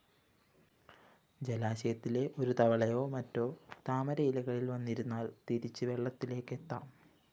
ജലാശയത്തിലെ ഒരു തവളയൊ മറ്റോ താമരയിലകളില്‍ വന്നിരുന്നാല്‍ തിരിച്ച് വെള്ളത്തിലേക്കെത്താം